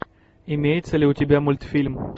имеется ли у тебя мультфильм